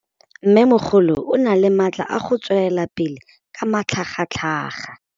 Mmêmogolo o na le matla a go tswelela pele ka matlhagatlhaga.